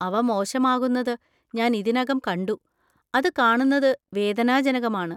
അവ മോശമാകുന്നത് ഞാൻ ഇതിനകം കണ്ടു, അത് കാണുന്നത് വേദനാജനകമാണ്.